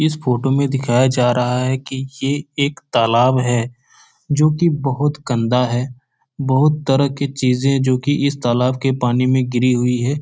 इस फोटो में दिखाया जा रहा है कि ये एक तालाब है जो कि बहुत गंदा है बहुत तरह के चीजें जो कि इस तालाब के पानी में गिरी हुई हैं।